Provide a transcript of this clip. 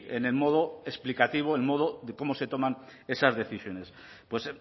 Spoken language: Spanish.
en el modo explicativo en modo de cómo se toman esas decisiones pues